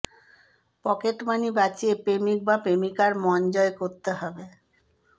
pocket money বাঁচিয়ে প্রেমিক বা প্রেমিকার মন জয় করতে হবে